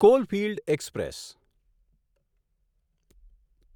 coalfield express